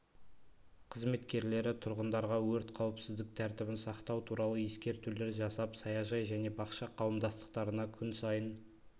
қызметкерлері тұрғындарға өрт қауіпсіздік тәртібін сақтау туралы ескертулер жасап саяжай және бақша қауымдастықтарына күн сайын